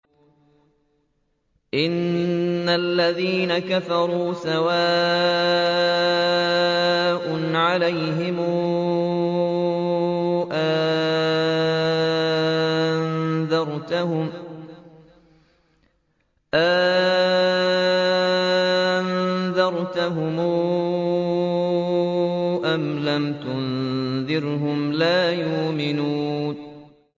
إِنَّ الَّذِينَ كَفَرُوا سَوَاءٌ عَلَيْهِمْ أَأَنذَرْتَهُمْ أَمْ لَمْ تُنذِرْهُمْ لَا يُؤْمِنُونَ